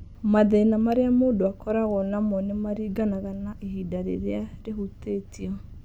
Mathĩna marĩa mũndũ akoragwo namo nĩ maringanaga na ihĩndĩ rĩrĩa rĩhutĩtio.